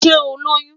Ṣe o Loyun?